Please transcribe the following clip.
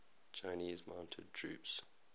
chinese mounted troops